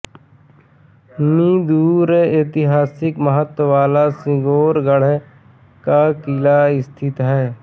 मी दूर ऐतिहासिक महत्व वाला सिंगोरगढ़ का किला स्थित है